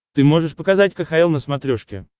ты можешь показать кхл на смотрешке